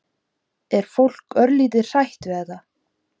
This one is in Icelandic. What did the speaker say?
Er fólk örlítið hrætt við þetta?